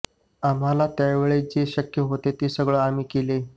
आम्हाला त्यावेळी जे शक्य होतं ते सगळं आम्ही केलं